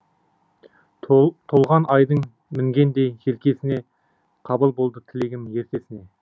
толған айдың мінгендей желкесіне қабыл болды тілегім ертесіне